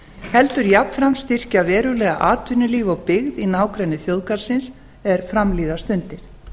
heldur jafnframt styrkja verulega atvinnulíf og byggð í nágrenni þjóðgarðsins er fram líða stundir